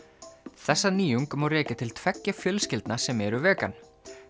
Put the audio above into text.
þessa nýjung má rekja til tveggja fjölskyldna sem eru vegan